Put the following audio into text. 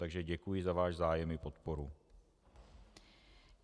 Takže děkuji za váš zájem i podporu.